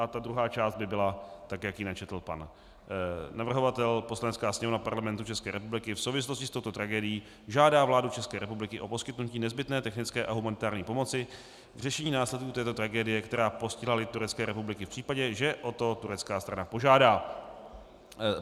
A ta druhá část by byla tak, jak ji načetl pan navrhovatel: "Poslanecká sněmovna Parlamentu České republiky v souvislosti s touto tragédií žádá vládu České republiky o poskytnutí nezbytné technické a humanitární pomoci k řešení následků této tragédie, která postihla lid Turecké republiky, v případě, že o to turecká strana požádá."